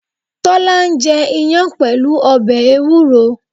Tólá ń jẹ iyán pẹ̀lú ọbè ewúro